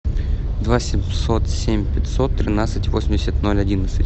два семьсот семь пятьсот тринадцать восемьдесят ноль одиннадцать